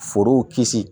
Forow kisi